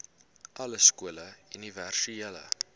alle skole universele